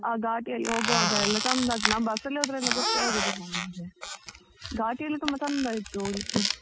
ಆ ಘಾಟಿ ಅಲ್ಲಿ ಹೋಗುವಾಗ ಎಲ್ಲ ಚಂದ ಆಗ್ತಾದೆ ನಾವು bus ಅಲ್ಲಿ ಎಲ್ಲ ಹೋದ್ರೆ ಗೊತ್ತೆ ಆಗುದಿಲ್ಲ ಮರ್ರೆ, ಘಾಟಿ ಅಲ್ಲಿ ತುಂಬ ಚಂದ ಇತ್ತು ಹೋಗ್ಲಿಕ್ಕೆ.